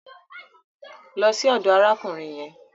Lọ sí ọdọ̀ arákùnrin yẹn.